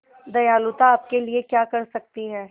दयालुता आपके लिए क्या कर सकती है